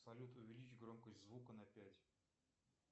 салют увеличь громкость звука на пять